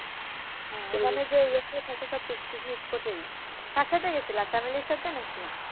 হ্যাঁ ওখানে যে এ অতসব picnic spot এই? কার সাথে গেছিলা চামেলির সাথে নাকি?